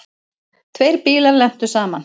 Tveir bílar lentu saman.